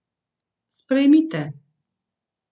Sprejmite.